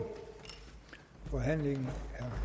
jo herre